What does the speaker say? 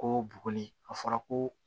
Ko buguni a fɔra ko